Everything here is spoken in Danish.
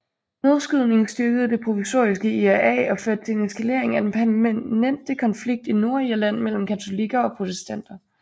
Nedskydningen styrkede Det Provisoriske IRA og førte til en eskalering af den permanente konflikt i Nordirland mellem katolikker og protestanter